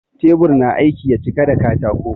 Teɓur na aiki ya ciƙa da kataƙo